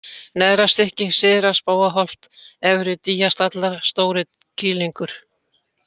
Neðrastykki, Syðra-Spóaholt, Efri-Dýjastallar, Stórikýlingur